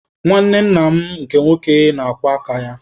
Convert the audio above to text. Nwanne nna m nke nwoke na-akwọ aka ya.